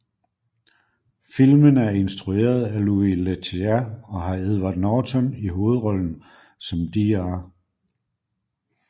Filmen er instrueret af Louis Leterrier og har Edward Norton i hovedrollen som Dr